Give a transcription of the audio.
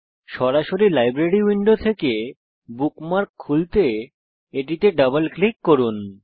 সরাসরি library window থেকে bookmark খুলতে এটিতে ডাবল ক্লিক করুন